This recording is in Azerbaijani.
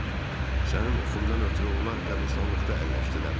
Sənin oxundan ötrü onlar qəbristanlıqda əlləşdilər.